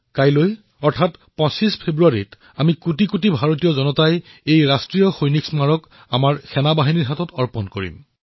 কাইলৈ অৰ্থাৎ ২৫ ফেব্ৰুৱাৰী তাৰিথে মই দেশবাসীলৈ এই ৰাষ্ট্ৰীয় সৈনিক স্মাৰকক আমাৰ সেনালৈ উচৰ্গা কৰিম